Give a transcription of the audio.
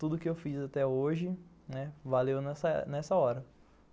Tudo o que eu fiz até hoje, né, valeu nessa hora.